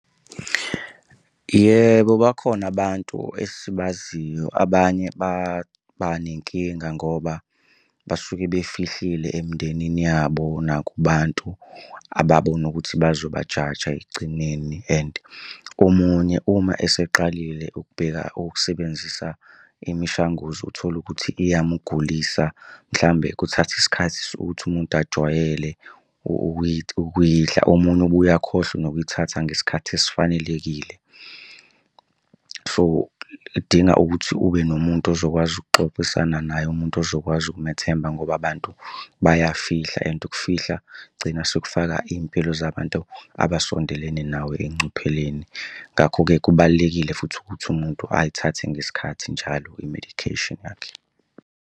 Yebo, bakhona abantu esibaziyo abanye baba nenkinga ngoba basuke befihlile emindenini yabo nakubantu ababona ukuthi bazobajaja ekugcineni and omunye uma eseqalile ukubheka ukusebenzisa imishanguzo uthole ukuthi iyamugulisa mhlawumbe kuthatha isikhathi ukuthi umuntu ajwayele ukuyidla. Omunye ubuye akhohlwe nokuyithatha ngesikhathi esifanelekile. So, idinga ukuthi ube nomuntu ozokwazi ukuxoxisana naye umuntu ozokwazi ukumethemba ngoba abantu bayafihla and ukufihla kugcina sekufaka iy'mpilo zabantu abasondelene nawe engcupheleni. Ngakho-ke kubalulekile futhi ukuthi umuntu ayithathe ngesikhathi njalo i-medication yakhe.